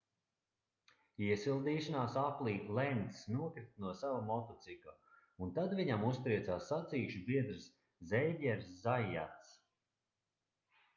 iesildīšanās aplī lencs nokrita no sava motocikla un tad viņam uztriecās sacīkšu biedrs zeivjers zaiats